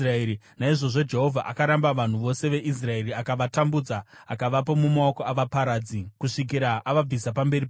Naizvozvo Jehovha akaramba vanhu vose veIsraeri; akavatambudza akavapa mumaoko avaparadzi, kusvikira avabvisa pamberi pake.